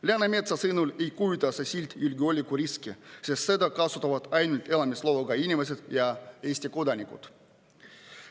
Läänemetsa sõnul ei kujuta see sild endast julgeolekuriski, sest seda kasutavad ainult elamisloaga inimesed ja Eesti kodanikud.